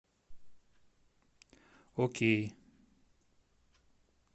окей